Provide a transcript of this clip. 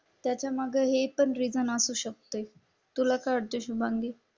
त्याच्या मग हे पण रिजन असू शकते तुला कार्ड शुभांगी.